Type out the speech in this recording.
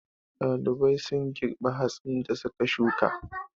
Ɗalibai sun girbe hatsin da su ka shuka.